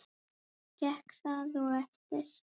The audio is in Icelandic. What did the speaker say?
Gekk það og eftir.